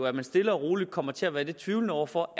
at man stille og roligt kommer til at være lidt tvivlende over for